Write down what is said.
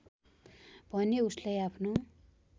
भने उसलाई आफनो